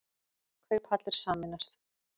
Kauphallir sameinast